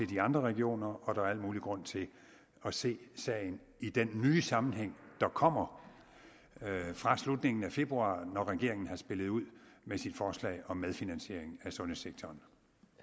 de andre regioner og der er al mulig grund til at se sagen i den nye sammenhæng der kommer fra slutningen af februar når regeringen har spillet ud med sit forslag om medfinansiering af sundhedssektoren